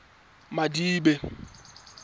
madibe